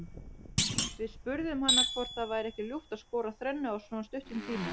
Við spurðum hana hvort það væri ekki ljúft að skora þrennu á svona stuttum tíma.